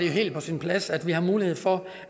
helt på sin plads at vi har mulighed for